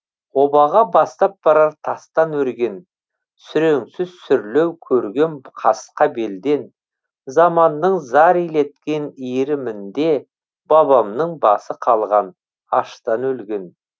обаға бастап барар тастан өрген сүреңсіз сүрлеу көргем қасқа белден заманның зар илеткен иірімінде бабамның басы қалған аштан өлген